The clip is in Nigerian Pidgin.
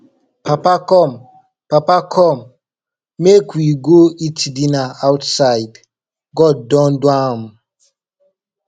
papa come papa come make we go eat dinner outside god don do am